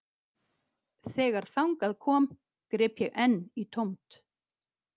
Þegar þangað kom greip ég enn í tómt